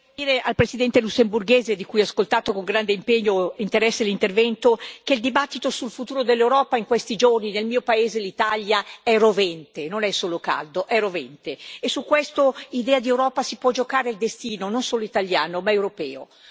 Signor Presidente, onorevoli colleghi, vorrei dire al Presidente lussemburghese, di cui ho ascoltato con grande impegno e interesse l'intervento, che il dibattito sul futuro dell'Europa in questi giorni, nel mio paese, l'Italia, è rovente. Non è solo caldo, è rovente. E su questa idea di Europa si può giocare il destino non solo italiano, ma europeo.